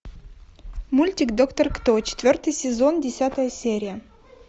мультик доктор кто четвертый сезон десятая серия